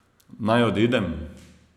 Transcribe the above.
Naj odidem?